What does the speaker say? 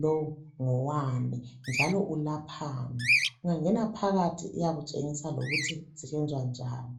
lowu ngowani njalo ulaphani, ungangena ngaphakathi iyakutshengisa lokuthi usebenza njani